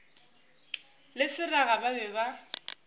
le seraga ba be ba